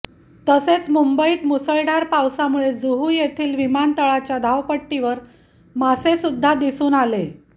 तसेच मुंबईत मुसळधार पावसामुळे जुहू येथील विमानतळाच्या धावपट्टीवर मासे सुद्धा दिसून आले